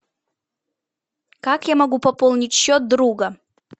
как я могу пополнить счет друга